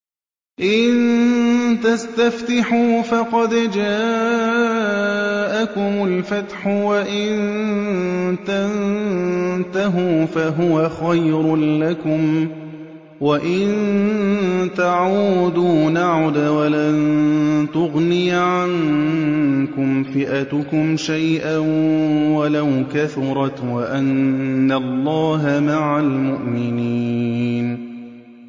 إِن تَسْتَفْتِحُوا فَقَدْ جَاءَكُمُ الْفَتْحُ ۖ وَإِن تَنتَهُوا فَهُوَ خَيْرٌ لَّكُمْ ۖ وَإِن تَعُودُوا نَعُدْ وَلَن تُغْنِيَ عَنكُمْ فِئَتُكُمْ شَيْئًا وَلَوْ كَثُرَتْ وَأَنَّ اللَّهَ مَعَ الْمُؤْمِنِينَ